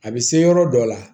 A bɛ se yɔrɔ dɔ la